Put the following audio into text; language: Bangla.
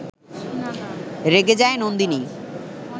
রেগে যায় নন্দিনী